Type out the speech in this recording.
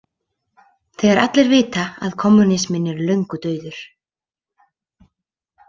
Þegar allir vita að kommúnisminn er löngu dauður.